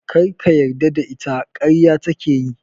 Kar ka yarda da ita - ƙarya take yi.